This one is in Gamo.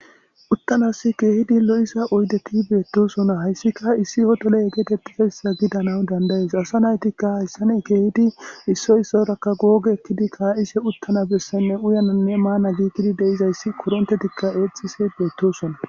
Uttanisi kehippe lo'iza oydetti bettosona haysattika issi hottele getetizaysa gidanaw dandayes ASA naytika hesadan ka'ishe gogetidi uttana besayne uyanane mana gidi de'izaysi korontetika exishe bettisona